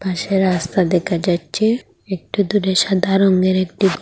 পাশে রাস্তা দেকা যাচ্ছে একটু দূরে সাদা রঙের একটি ঘর--